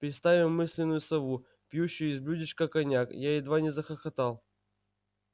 представим мысленную сову пьющую из блюдечка коньяк я едва не захохотал